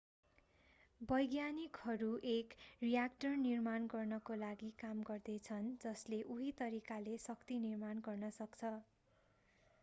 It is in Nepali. वैज्ञानिकहरू एक रियाक्टर निर्माण गर्नको लागि काम गर्दै छन् जसले उही तरिकाले शक्ति निर्माण गर्न सक्छ